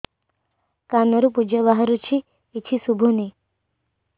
କାନରୁ ପୂଜ ବାହାରୁଛି କିଛି ଶୁଭୁନି